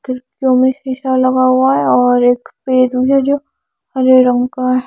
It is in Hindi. खिड़कियों में शीशा लगा हुआ है और एक पेरू है जो हरे रंग का--